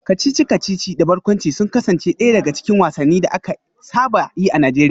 Kacici-kacici da barkwanci sun kasance daya daga cikin wasannin da aka saba yi a Najeriya